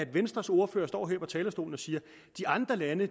venstres ordfører står her på talerstolen og siger at de andre lande